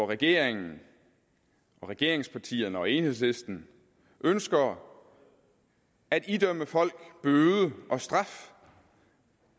regeringen og regeringspartierne og enhedslisten ønsker at idømme folk bøde og straf